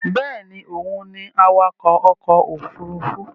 Bẹ́ẹ̀ni òun ni awakọ̀ ọkọ̀ òfurufú